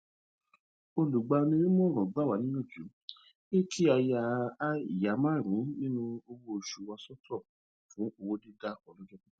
olùgbaninímọràn gba wa niyanju pe ki a ya ia marunun ninu owo oṣu wa sọtọ fun owodida ọlọjọ pipẹ